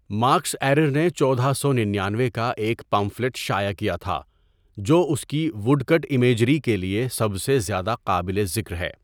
Marks Ayrer نے چودہ سو ننانوے کا ایک پمفلٹ شائع کیا تھا، جو اس کی ووڈ کٹ امیجری کے لیے سب سے زیادہ قابل ذکر ہے۔